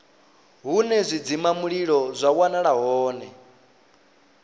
hune zwidzimamulilo zwa wanala hone